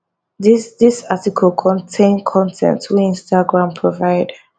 dis dis article contain con ten t wey instagram provide